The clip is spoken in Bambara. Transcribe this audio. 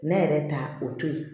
Ne yɛrɛ ta o to yen